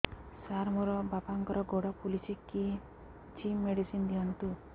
ସାର ମୋର ବାପାଙ୍କର ଗୋଡ ଫୁଲୁଛି କିଛି ମେଡିସିନ ଦିଅନ୍ତୁ